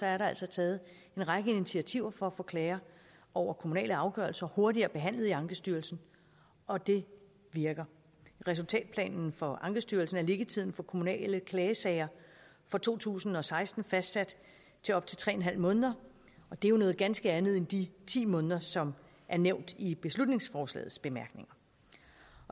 er der altså taget en række initiativer for at få klager over kommunale afgørelser hurtigere behandlet i ankestyrelsen og det virker i resultatplanen for ankestyrelsen er liggetiden for kommunale klagesager for to tusind og seksten fastsat til op til tre en halv måned og det er noget ganske andet end de ti måneder som er nævnt i beslutningsforslagets bemærkninger